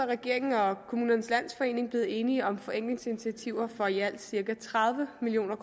regeringen og kommunernes landsforening blevet enige om forenklingsinitiativer for i alt cirka tredive million